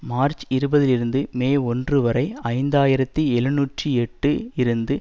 March இருபதுலிருந்து May ஒன்று வரை ஐந்து ஆயிரத்தி எழுநூற்று எட்டு இருந்து